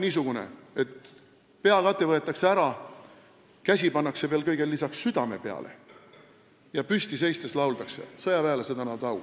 niisugune komme, et peakate võetakse ära, kõigele lisaks pannakse veel käsi südame peale ja lauldakse püsti seistes ning sõjaväelased annavad au.